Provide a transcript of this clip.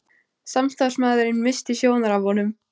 Samstarfsmaðurinn missti sjónar af honum.